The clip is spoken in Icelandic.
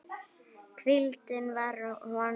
Hvíldin var honum kær.